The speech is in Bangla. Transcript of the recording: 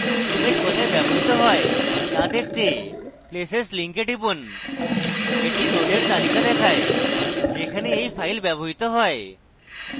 image কোথায় ব্যবহৃত হয় to দেখতে places link টিপুন এটি নোডের তালিকা দেয় যেখানে এই file ব্যবহৃত হয়েছে